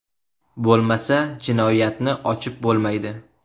Bo‘lmasa jinoyatni ochib bo‘lmaydi.